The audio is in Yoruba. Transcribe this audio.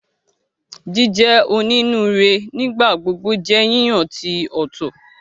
Jíjẹ onínúure nigbagbogbo jẹ yíyan ti o tọ.